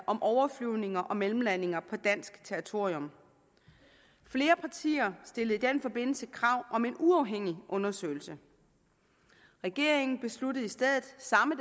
om overflyvninger og mellemlandinger på dansk territorium flere partier stillede i den forbindelse krav om en uafhængig undersøgelse regeringen besluttede i stedet samme